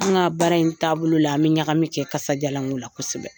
An ka baara in taabolo la, an bi ɲagami kɛ karisajalan ko la kosɛbɛ.